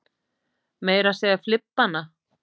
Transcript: Meira að segja flibbana.